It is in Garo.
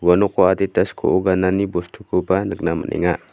ua noko adita skoo ganani bostukoba nikna man·enga.